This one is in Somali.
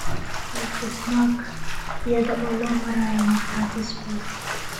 (El Desmarque, iyada oo loo marayo Markhaati Sport.